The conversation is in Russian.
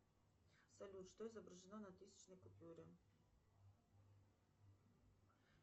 салют что изображено на тысячной купюре